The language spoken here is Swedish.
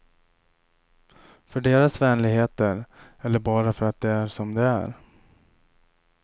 För deras vänligheter eller bara för att de är som de är.